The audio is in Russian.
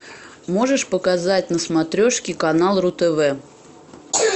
можешь показать на смотрешке канал ру тв